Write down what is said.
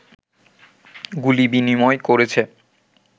গুলি বিনিময় করেছে